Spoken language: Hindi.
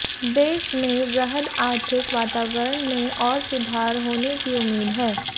देश में वृहद आर्थिक वातावरण में और सुधार होने की उम्मीद है